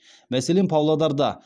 мәселен павлодарда